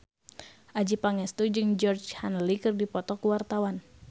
Adjie Pangestu jeung Georgie Henley keur dipoto ku wartawan